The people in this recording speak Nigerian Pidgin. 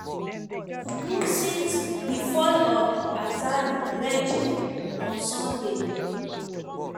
do since di fall of di assad regime on sunday.